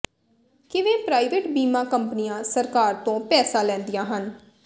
ਕਿਵੇਂ ਪ੍ਰਾਈਵੇਟ ਬੀਮਾ ਕੰਪਨੀਆਂ ਸਰਕਾਰ ਤੋਂ ਪੈਸਾ ਲੈਂਦੀਆਂ ਹਨ